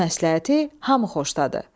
Bu məsləhəti hamı xoşdadır.